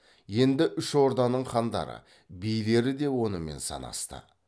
енді үш орданың хандары билері де онымен санасты